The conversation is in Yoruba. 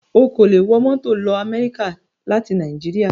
O kò lè wọ mọ́tò lọ Amẹ́ríkà láti Nàìjíríà